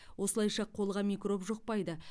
осылайша қолға микроб жұқпайды